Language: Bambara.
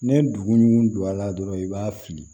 Ne dugu don a la dɔrɔn i b'a fili